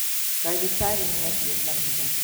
Ndagĩtarĩ nĩathiĩ kanitha